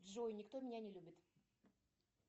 джой никто меня не любит